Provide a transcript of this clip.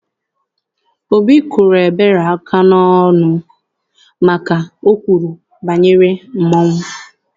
Obi kụrụ Ebere aka n'ọnụ maka na o kwuru banyere mmọnwụ.